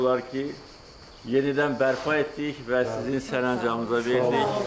Biz demək olar ki, yenidən bərpa etdik və sizin sərəncamınıza verdik.